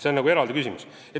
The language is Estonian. See on eraldi küsimus.